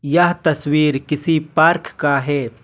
यह तस्वीर किसी पार्क का है।